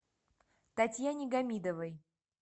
татьяне гамидовой